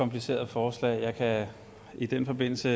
kompliceret forslag jeg kan i den forbindelse